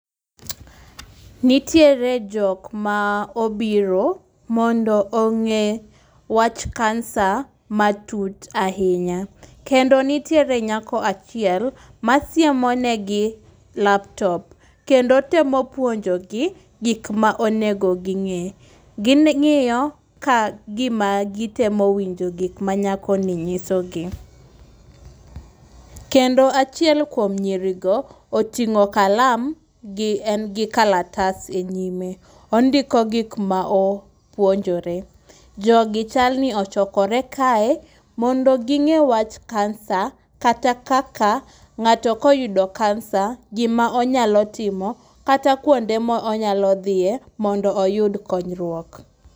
Nitiere jok ma obiro mondo ong'e wach kansa matut ahinya kendo nitiere nyako achiel masiemo negi lap top. Kendo otemo puonjogi gik ma onego ging'e. Gi ng'iyo ka gima gitemo winjo gik manyakoni nyisogi. Kendo achiel kuom nyirigo oting'o kalam to en gi kalatas enyime. Ondiko gik ma gipzonjore. Jogi ochokore kae mondo ging'e wach kansa kata kaka ng'ato koyudo kansa gima onyalo timo kata kuonde ma onyalo dhiye mondo oyud konyruok.